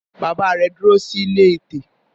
Bàbá rẹ̀ dúró sí ilé ẹtẹ.